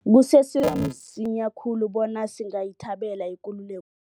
Kusese msinya khulu bona singayithabela ikululeko